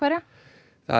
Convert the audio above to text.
það